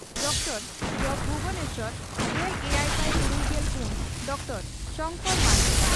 ᱩᱛᱠᱚᱲ ᱡᱹᱵᱹ ᱵᱷᱩᱵᱚᱱᱮᱥᱚᱨ᱾ᱜᱮᱞ ᱮᱭᱟᱭ ᱥᱟᱭ ᱛᱩᱨᱩᱭᱜᱮᱞ ᱯᱩᱱ ᱰᱚᱠᱴᱚᱨᱹ ᱥᱚᱝᱠᱚᱨ ᱢᱟᱨᱟᱱᱰᱤ